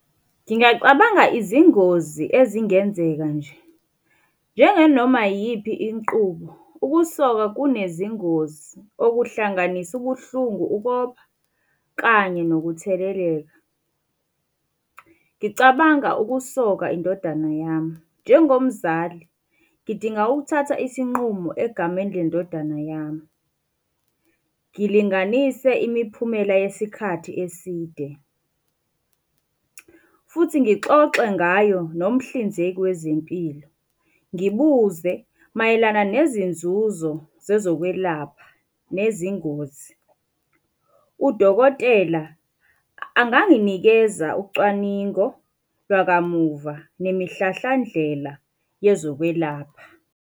Ngingacabanga izingozi ezingenzeka nje. Njenganoma iyiphi inqubo, ukusoka kunezingozi, okuhlanganisa ubuhlungu, ukopha kanye nokutheleleka. Ngicabanga ukusoka indodana yami. Njengomzali, ngidinga ukuthatha isinqumo egameni le ndodana yami. Ngilinganise imiphumela yesikhathi eside. Futhi ngixoxe ngayo nomhlinzeki wezempilo, ngibuze mayelana nezinzuzo zezokwelapha nezingozi. Udokotela anganginikeza ucwaningo lwakamuva nemihlahlandlela yezokwelapha.